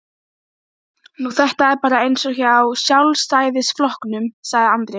Nú þetta er bara eins og hjá Sjálfstæðisflokknum, sagði Andri.